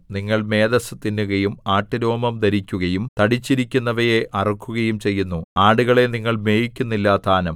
നിങ്ങൾ മേദസ്സ് തിന്നുകയും ആട്ടുരോമം ധരിക്കുകയും തടിച്ചിരിക്കുന്നവയെ അറുക്കുകയും ചെയ്യുന്നു ആടുകളെ നിങ്ങൾ മേയിക്കുന്നില്ലതാനും